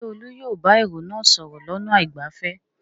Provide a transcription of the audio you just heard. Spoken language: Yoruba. Ǹjẹ́ Olú yóò bá èrò náà sọ̀rọ̀ lọ́nà àìgbẹ̀fẹ̀?